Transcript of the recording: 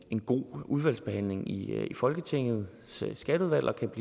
god udvalgsbehandling i folketingets skatteudvalg og